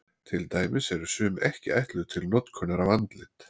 Til dæmis eru sum ekki ætluð til notkunar á andlit.